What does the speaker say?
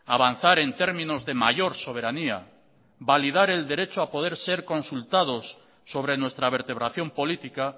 avanzar en términos de mayor soberanía validar el derecho a poder ser consultados sobre nuestra vertebración política